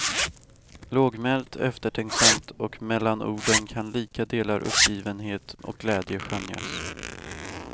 Lågmält, eftertänksamt och mellan orden kan lika delar uppgivenhet och glädje skönjas.